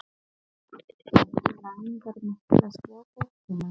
Ekki langar mig til að sjá fréttirnar.